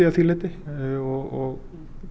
að því leyti og